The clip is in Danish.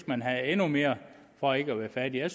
man have endnu mere for ikke at være fattig jeg